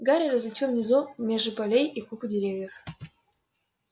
гарри различил внизу межи полей и купы деревьев